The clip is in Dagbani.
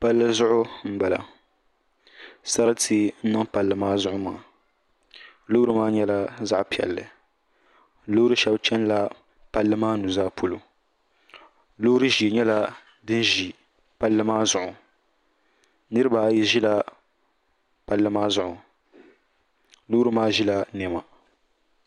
Palli zuɣu n bala sarati n niŋ palli maa zuɣu maa loori maa nyɛla zaɣ piɛlli loori shab chɛnila palli maa nuzaa polo loori ʒiɛ nyɛla din ʒi palli maa zuɣu niraba ayi ʒila palli maa zuɣu loori maa ʒila niɛma